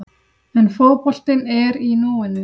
En fótboltinn er í núinu.